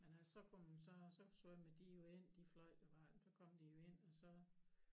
Men altså så kom så så svømmede de jo ind de fløjter bare så kom de jo ind og så